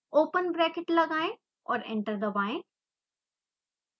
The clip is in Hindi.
ओपन ब्रैकेट लगाएं और एंटर दबाएं